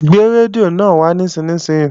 Gbé rédíò náà wá nísinsìnyí!